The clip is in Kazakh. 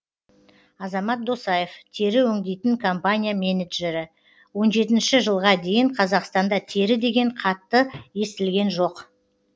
азамат досаев тері өңдейтін компания менеджері он жетінші жылға дейін қазақстанда тері деген қатты естілген жоқ